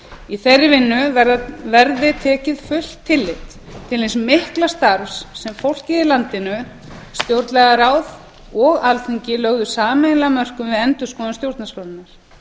í þeirri vinnu verði tekið fullt tillit til hins mikla starfs sem fólkið í landinu stjórnlagaráð og alþingi lögðu sameiginlega af mörkum við endurskoðun stjórnarskrárinnar